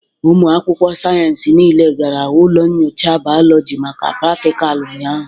Ụmụ akwụkwọ sayensị niile gara ụlọ nyocha bayoloji maka pratical ụnyahụ.